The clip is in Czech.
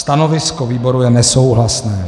Stanovisko výboru je nesouhlasné.